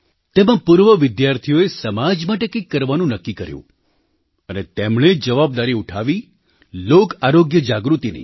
તેમાં પૂર્વ વિદ્યાર્થીઓએ સમાજ માટે કંઈક કરવાનું નક્કી કર્યું અને તેમણે જવાબદારી ઉઠાવી લોક આરોગ્ય જાગૃતિની